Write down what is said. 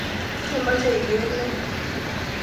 Temoche iker ne?